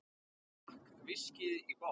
Hann drakk viskíið í botn.